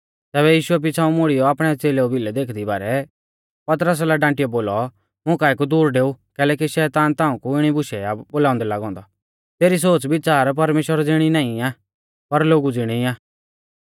तैबै यीशुऐ पिछ़ाऊं मुड़ियौ आपणै च़ेलेऊ भिलै देखदी बारै पतरसा लै डांटियौ बोलौ मुकाऐ कु दूर डेऊ कैलैकि शैतान ताऊं कु इणी बूशै आ बोलाउंदै लागौ औन्दौ तेरी सोच़विच़ार परमेश्‍वरा ज़िणी नाईं आ पर लोगु ज़िणी आ